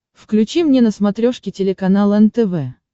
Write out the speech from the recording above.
включи мне на смотрешке телеканал нтв